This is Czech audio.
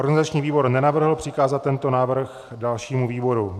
Organizační výbor nenavrhl přikázat tento návrh dalšímu výboru.